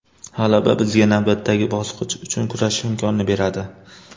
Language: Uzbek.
G‘alaba bizga navbatdagi bosqich uchun kurashish imkonini beradi.